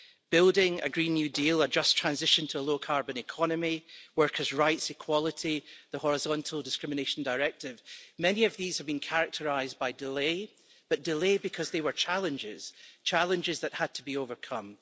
Building a Green New Deal, a just transition to a low carbon economy, workers' rights, equality, the horizontal discrimination directive many of these have been characterised by delay, but delay because they were challenges, challenges that had to be overcome.